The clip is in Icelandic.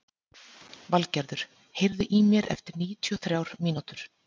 Valgerður, heyrðu í mér eftir níutíu og þrjár mínútur.